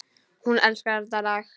Hún elskar þetta lag!